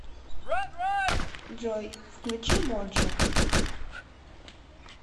джой включи моджо